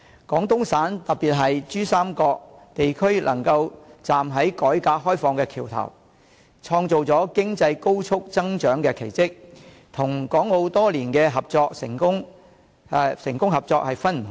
廣東省特別是珠三角地區能夠站在改革開放的橋頭，創造了經濟高速增長的奇蹟，與港澳多年的成功合作是分不開的。